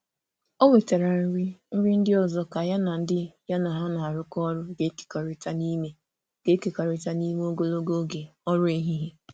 O wetara nri nri ndị ọzọ ka ya na ndị ya na ha na-arụkọ ọrụ ga-ekekọrịta n'ime ga-ekekọrịta n'ime ogologo oge ọrụ ehihie.